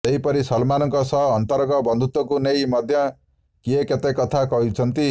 ସେହିପରି ସଲମାନଙ୍କ ସହ ଅନ୍ତରଙ୍ଗ ବନ୍ଧୁତ୍ବକୁ ନେଇ ମଧ୍ୟ କିଏ କେତେ କଥା କହୁଛନ୍ତି